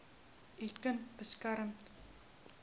u kind beskerm